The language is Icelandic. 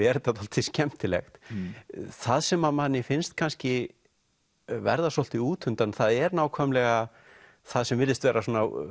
er þetta dálítið skemmtilegt það sem manni finnst kannski verða svolítið útundan það er nákvæmlega það sem virðist vera